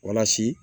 Walasa